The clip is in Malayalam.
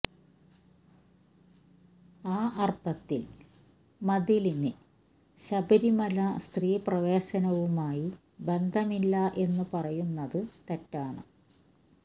ആ അര്ത്ഥത്തില് മതിലിന് ശബരിമല സ്ത്രീ പ്രവേശനവുമായി ബന്ധമില്ല എന്നു പറയുന്നത് തെറ്റാണ്